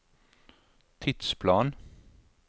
tidsplan